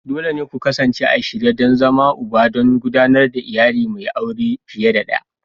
Dole ne ku kasance a shirye don zama Uba don gudanar da iyali mai aure fiye da ɗaya.